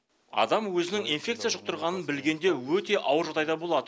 адам өзінің инфекция жұқтырғанын білгенде өте ауыр жағдайда болады